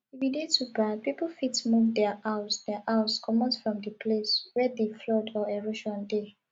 if e dey too bad pipo fit move their house their house comot from di place wey di flood or erosion dey